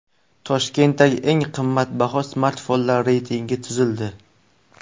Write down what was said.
Toshkentdagi eng qimmatbaho smartfonlar reytingi tuzildi.